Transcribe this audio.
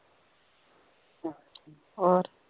ਹੋਰ